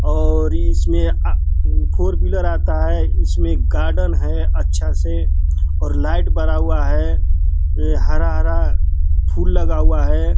और इसमें आ फोर व्हीलर आता है। इसमें एक गार्डन है अच्छा से और लाइट बरा हुआ है। ए हरा हरा फूल लगा हुआ है।